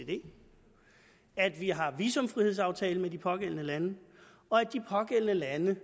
at vi har en visumfrihedsaftale med de pågældende lande og at de pågældende lande